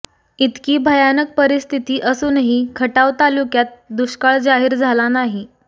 इतकी भयानक परिस्थिती असूनही खटाव तालुक्यात दुष्काळ जाहीर झाला नाही